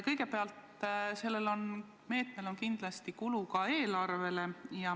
Kõigepealt, selle meetmega kaasneb kindlasti ka kulu eelarvele.